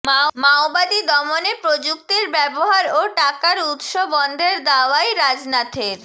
মাওবাদী দমনে প্রযুক্তির ব্যবহার ও টাকার উত্স বন্ধের দাওয়াই রাজনাথের